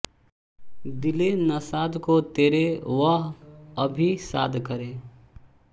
दिले ऩाशाद को तेरे वह अभी शाद करे